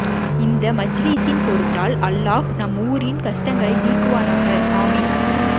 இந்த மஜ்ளிசின் பொருட்டல் அல்லாஹ் நம் ஊரின் கஷ்டங்களை நீக்குவானாக ஆமீன்